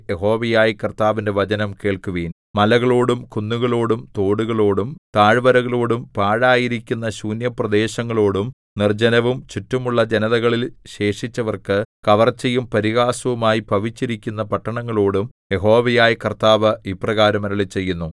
യഹോവയായ കർത്താവിന്റെ വചനം കേൾക്കുവിൻ മലകളോടും കുന്നുകളോടും തോടുകളോടും താഴ്വരകളോടും പാഴായിരിക്കുന്ന ശൂന്യപ്രദേശങ്ങളോടും നിർജ്ജനവും ചുറ്റുമുള്ള ജനതകളിൽ ശേഷിച്ചവർക്കു കവർച്ചയും പരിഹാസവും ആയി ഭവിച്ചിരിക്കുന്ന പട്ടണങ്ങളോടും യഹോവയായ കർത്താവ് ഇപ്രകാരം അരുളിച്ചെയ്യുന്നു